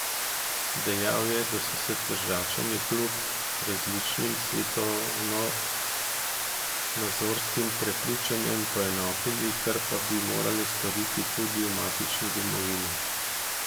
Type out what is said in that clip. Dejal je, da so se Tržačani kljub različnim svetovnonazorskim prepričanjem poenotili, kar pa bi morali storiti tudi v matični domovini.